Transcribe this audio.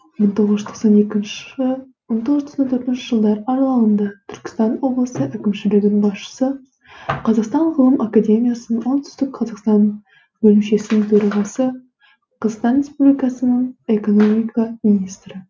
мың тоғыз жүз тоқсан екінші мың тоғыз жүз тоқсан төртінші жылдар аралығында түркістан облысы әкімшілігінің басшысы қазақстан ғылым академиясының оңтүстік қазақстан бөлімшесінің төрағасы қазақстан республикасының экономика министрі